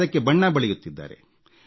ಅದಕ್ಕೆ ಬಣ್ಣ ಬಳಿಯುತ್ತಿದ್ದಾರೆ